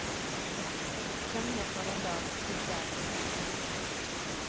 Konge for en dag, tigger for et liv.